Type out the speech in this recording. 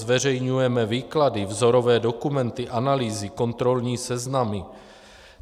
Zveřejňujeme výklady, vzorové dokumenty, analýzy, kontrolní seznamy.